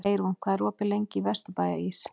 Eyrún, hvað er opið lengi í Vesturbæjarís?